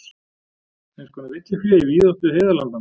Eins konar villifé í víðáttu heiðalandanna.